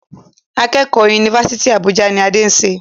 Akẹ́kọ̀ọ́ Yunifásítì Àbújá ni Adé ń ṣe.